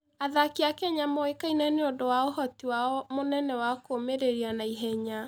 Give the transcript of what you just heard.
Athaki a Kenya moĩkaine nĩ ũndũ wa ũhoti wao mũnene wa kũũmĩrĩria na ihenya.